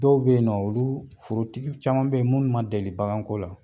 Dɔw bɛ yen nɔ olu forotigi caman bɛ yen nɔ minnu ma deli baganko la.